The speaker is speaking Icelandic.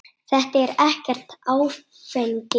Þetta er ekkert áfengi.